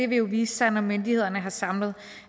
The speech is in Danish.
vil jo vise sig når myndighederne har samlet